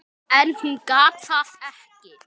En hún gat það ekki.